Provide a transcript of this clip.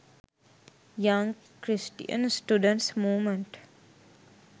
young christian students movement